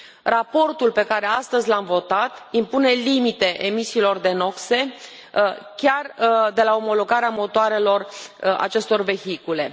Raportul pe care astăzi l am votat impune limite emisiilor de noxe, chiar de la omologarea motoarelor acestor vehicule.